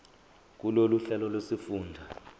kulolu hlelo lwezifundo